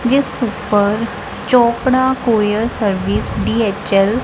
ਜਿਸ ਉਪਰ Chopra courier service DHL --